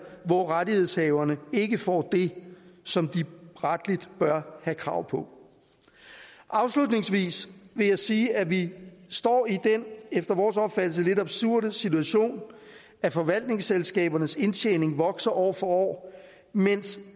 hvor rettighedshaverne ikke får det som de retligt bør have krav på afslutningsvis vil jeg sige at vi står i den efter vores opfattelse lidt absurde situation at forvaltningsselskabernes indtjening vokser år for år mens